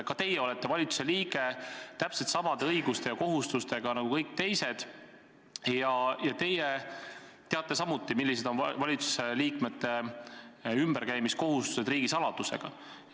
Ka teie olete valitsuse liige, täpselt samade õiguste ja kohustustega nagu kõik teised ja teie teate samuti, millised kohustused on valitsuse liikmetel riigisaladusega ümberkäimisel.